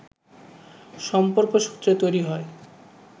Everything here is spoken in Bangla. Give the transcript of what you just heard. সম্পর্কসূত্রে তৈরি হয়